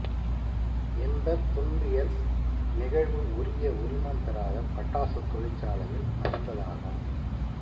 இந்தத் துன்பியல் நிகழ்வு உரிய உரிமம் பெறாத பட்டாசுத் தொழிற்சாலையில் நடந்ததாகும்